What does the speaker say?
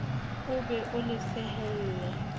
o be o le sehelle